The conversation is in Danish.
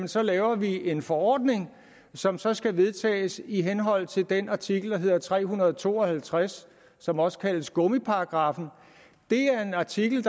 så laver vi en forordning som så skal vedtages i henhold til den artikel der hedder tre hundrede og to og halvtreds som også kaldes gummiparagraffen det er en artikel